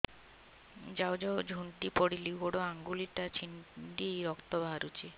ଯାଉ ଯାଉ ଝୁଣ୍ଟି ପଡ଼ିଲି ଗୋଡ଼ ଆଂଗୁଳିଟା ଛିଣ୍ଡି ରକ୍ତ ବାହାରୁଚି